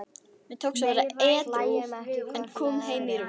Mér tókst að vera edrú en kom heim í rúst.